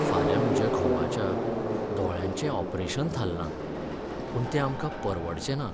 फाल्यां म्हज्या घोवाच्या दोळ्यांचे ऑपरेशन थारलां, पूण तें आमकां परवडचें ना.